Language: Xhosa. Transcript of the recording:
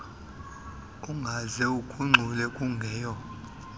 ungabokuze ugungxule kungeyo